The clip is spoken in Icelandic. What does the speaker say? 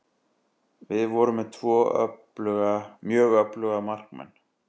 Við vorum með tvo mjög öfluga markmenn.